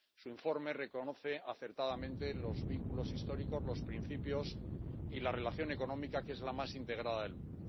Su informe reconoce acertadamente los vínculos históricos, los principios y la relación económica, que es la más integrada del mundo.